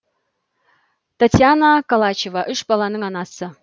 таятьяна колачева үш баланың анасы